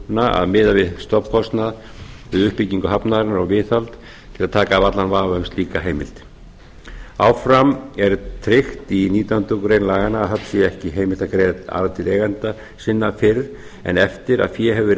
gjaldtökuna að miða við stofnkostnað við uppbyggingu hafnarinnar og viðhald til að taka af allan vafa um slíka heimild áfram er tryggt í nítján grein laganna að höfn sé ekki heimilt að greiða arð til eigenda sinna fyrr en eftir að fé hefur verið